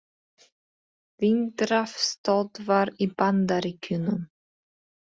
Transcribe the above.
Vindrafstöðvar í Bandaríkjunum.